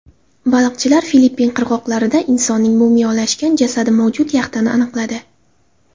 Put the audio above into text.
Baliqchilar Filippin qirg‘oqlarida insonning mumiyolashgan jasadi mavjud yaxtani aniqladi.